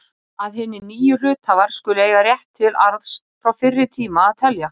að hinir nýju hluthafar skulu eiga rétt til arðs frá fyrri tíma að telja.